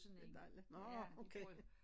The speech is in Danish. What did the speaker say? Det dejligt nårh okay